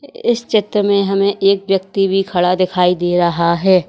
इस चित्र में हमें एक व्यक्ति भी खड़ा दिखाई दे रहा है।